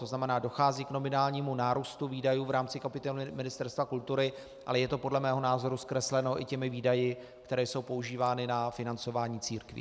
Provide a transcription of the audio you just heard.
To znamená, dochází k nominálnímu nárůstu výdajů v rámci kapitoly Ministerstva kultury, ale je to podle mého názoru zkresleno i těmi výdaji, které jsou používány na financování církví.